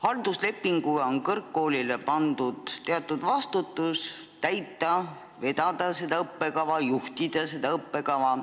Halduslepinguga on kõrgkoolile pandud teatud vastutus vedada seda õppekava, juhtida seda õppekava.